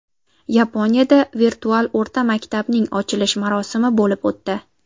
Yaponiyada virtual o‘rta maktabning ochilish marosimi bo‘lib o‘tdi.